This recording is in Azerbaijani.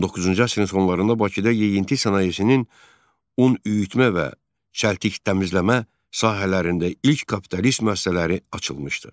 19-cu əsrin sonlarında Bakıda yeyinti sənayesinin un üyütmə və çəltik təmizləmə sahələrində ilk kapitalist müəssisələri açılmışdı.